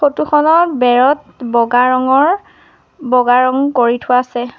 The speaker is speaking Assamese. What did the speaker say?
ফটো খনৰ বেৰত বগা ৰঙৰ বগা ৰঙ কৰি থোৱা আছে।